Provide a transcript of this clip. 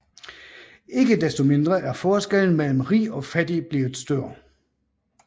Ikke desto mindre er forskellen mellem rig og fattig blevet større